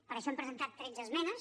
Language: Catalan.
per això hem presentat tretze esmenes